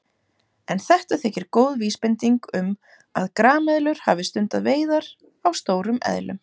En þetta þykir góð vísbending um að grameðlur hafi stundað veiðar á stórum eðlum.